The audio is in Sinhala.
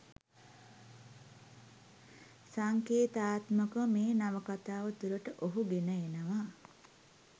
සංකේතාත්මකව මේ නවකතාව තුළට ඔහු ගෙන එනවා